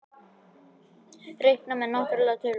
Reiknað með náttúrlegum tölum.